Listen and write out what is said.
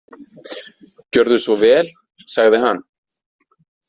Gjörðu svo vel, sagði hann.